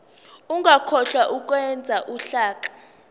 ungakhohlwa ukwenza uhlaka